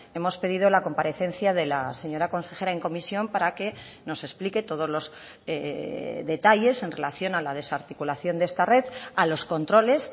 hemos pedido la comparecencia de la señora consejera en comisión para que nos explique todos los detalles en relación a la desarticulación de esta red a los controles